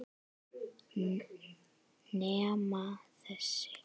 Nema þessi.